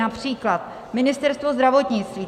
Například Ministerstvo zdravotnictví.